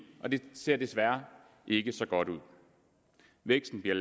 og det ser desværre ikke så godt ud væksten bliver